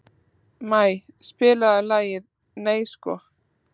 Maj, spilaðu lagið „Nei sko“.